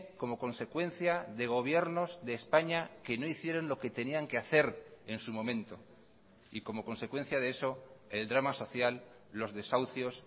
como consecuencia de gobiernos de españa que no hicieron lo que tenían que hacer en su momento y como consecuencia de eso el drama social los desahucios